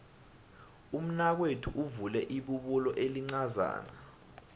umnakwethu uvule ibubulo elincazana